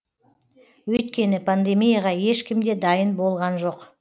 өйткені пандемияға ешкім де дайын болған жоқ